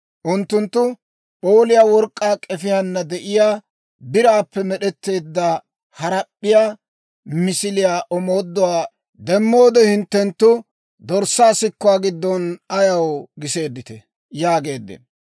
Unttunttu, P'ooliyaa work'k'aa k'efiyaana de'iyaa, biraappe med'etteedda harap'p'iyaa misiliyaa, omooduwaa demmoode, hinttenttu, dorssaa sikuwaa giddon ayaw giseedditee?» yaageeddino.